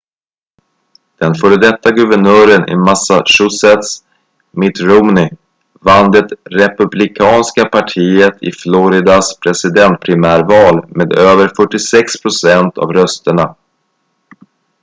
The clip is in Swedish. den före detta guvernören i massachusetts mitt romney vann det republikanska partiet i floridas presidentprimärval med över 46 procent av rösterna